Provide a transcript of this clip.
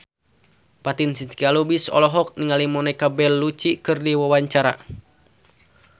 Fatin Shidqia Lubis olohok ningali Monica Belluci keur diwawancara